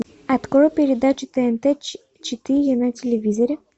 открой передачу тнт четыре на телевизоре